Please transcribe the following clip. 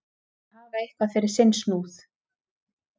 Að hafa eitthvað fyrir sinn snúð